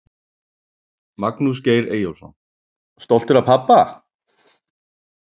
Magnús Geir Eyjólfsson: Stoltur af pabba?